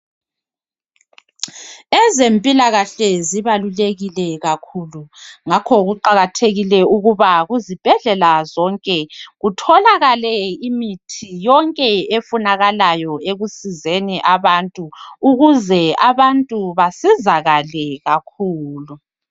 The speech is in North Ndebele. Ezempilakahle zibalulekile kakhulu ngakho kuqakathekile ukuba kuzibhedlela zonke kutholakale imithi yonke efunakalayoni ekusizeni abantu ukuze abantu basizakale kakhulu.